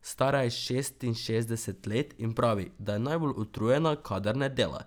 Stara je šestinšestdeset let in pravi, da je najbolj utrujena, kadar ne dela.